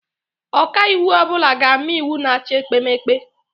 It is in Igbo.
Ọkaiwu ọbula ga-ama iwu na-achị ekpemeke